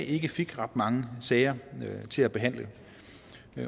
ikke fik ret mange sager til behandling